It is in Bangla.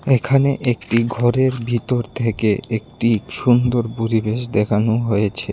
ভিতর থেকে একটি সুন্দর পরিবেশ দেখানো হয়েছে।